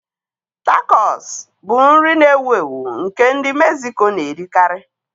Takọs bụ nri na-ewu ewu nke ndị Mexico na-erikarị.